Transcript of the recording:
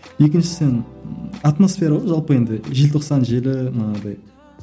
екіншісін атмосфера ғой жалпы енді желтоқсан желі манағыдай